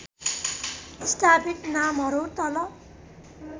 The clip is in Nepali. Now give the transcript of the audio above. स्थापित नामहरू तल